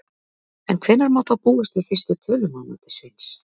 En hvenær má þá búast við fyrstu tölum að mati Sveins?